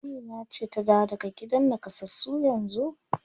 Amina ce ta dawo daga gidan nakasassu yanzu?